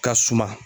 Ka suma